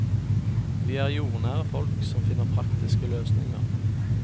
Vi er jordnære folk, som finner praktiske løsninger.